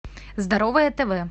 здоровое тв